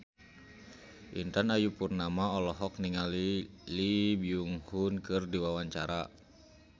Intan Ayu Purnama olohok ningali Lee Byung Hun keur diwawancara